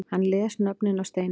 Hann les nöfnin af steininum